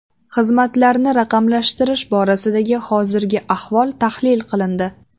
Xizmatlarni raqamlashtirish borasidagi hozirgi ahvol tahlil qilindi.